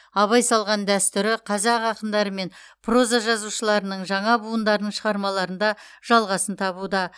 абай салған дәстүрі қазақ ақындары мен проза жазушыларының жаңа буындарының шығармаларында жалғасын табуда